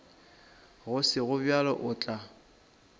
go sego bjalo o tla